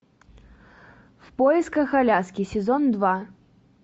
в поисках аляски сезон два